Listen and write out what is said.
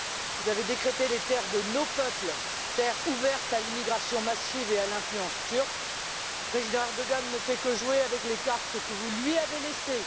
Vous avez décrété les terres de nos peuples terres ouvertes à l'immigration massive et à l'influence turque. Le président Erdogan ne fait que jouer avec les cartes que vous lui avez laissées.